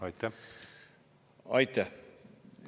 Aitäh!